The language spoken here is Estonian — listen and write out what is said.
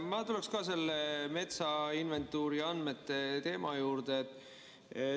Ma tuleks ka selle metsainventuuri andmete teema juurde.